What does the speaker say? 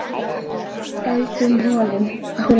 Höldum honum!